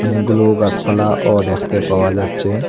অনেকগুলো গাছপালাও দেখতে পাওয়া যাচ্ছে।